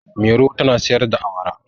Mairo tana sayar da awara.